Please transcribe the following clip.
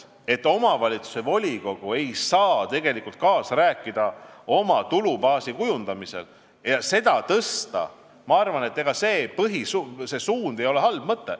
Kui omavalitsuse volikogu ei saa tegelikult kaasa rääkida oma tulubaasi kujundamisel ega seda suurendada, siis selline suund ei ole hea.